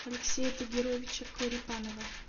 алексея тагировича корепанова